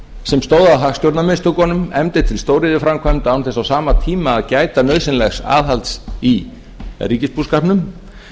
sem stóð að hagstjórnarmistökunum efndi til stóriðjuframkvæmda án þess á sama tíma að gæta nauðsynlegs aðhalds í ríkisbúskapnum